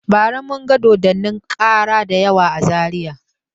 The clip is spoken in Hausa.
Bara mun ga dodannin kara dayawa a Zariya.